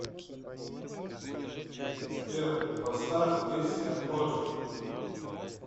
сбер поставь песня оджи